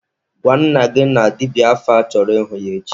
Gwa nna gị na dibịa afa chọrọ ịhụ ya echi!